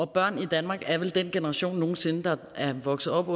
børn i danmark er vel den generation nogen sinde der er vokset op